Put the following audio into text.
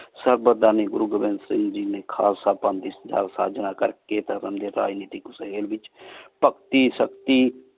ਸਬ ਧਨੀ ਗੁਰੂ ਗੋਵਿੰਦ ਸਿੰਘ ਜੀ ਨੀ ਪਾਨ ਦੀ ਕਰ ਕੀ ਰਾਜ ਨੀਤੀ ਭਗਤੀ ਸ਼ਕਤੀ